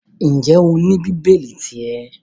Ǹjẹ́ o ní bíbélì ti ẹ?